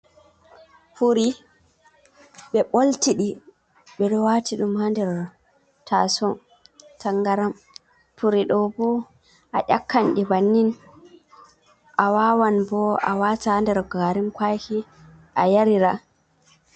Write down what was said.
Furi, ɓe bolti ɗi ɓe ɗo wati dum ha nder taso tangaram, puri ɗo bo a ƴakanɗi bannin, a wawan bo a wata ha nder garin kwaki a yarira.